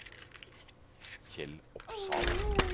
Kjell Opsahl